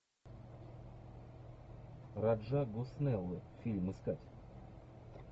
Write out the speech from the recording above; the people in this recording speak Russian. раджа госнеллы фильм искать